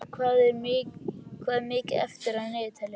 Marheiður, hvað er mikið eftir af niðurteljaranum?